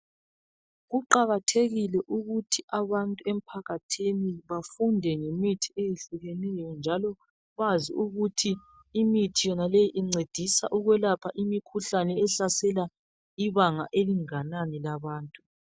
Kuqakathekile ukuthi abantu emphakathini bafunde ngemthi eyehlukeneyo .Njalo bazi ukuthi imithi yonaleyi incedisa ukwelapha imikhuhlane ehlasela ibanga elinganani labantu.